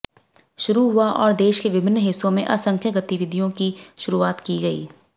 शुरू हुआ और देश के विभिन्न हिस्सों में असंख्य गतिविधियों की शुरुआत की गई